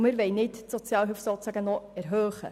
Wir wollen die Sozialhilfe nicht noch erhöhen.